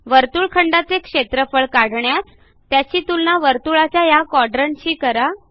वर्तुळखंडाचे क्षेत्रफळ काढण्यास त्याची तुलना वर्तुळाच्या हया क्वाड्रंट शी करा